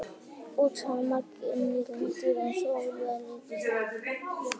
Útbreiðslusvæði margra núlifandi dýra, eins og úlfa og ljóna, breyttust mjög.